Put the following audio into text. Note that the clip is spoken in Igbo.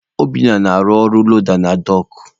Obinna na-arụ ọrụ loda na dọọkụ.